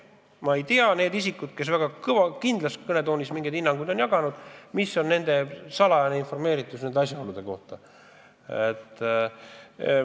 Ma ei tea, kui hästi on salajase infoga varustatud need isikud, kes väga kindlal toonil mingeid hinnanguid on jaganud.